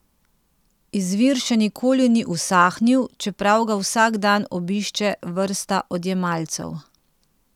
Izvir še nikoli ni usahnil, čeprav ga vsak dan obišče vrsta odjemalcev.